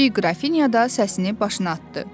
Kiçik qrafinya da səsini başına atdı.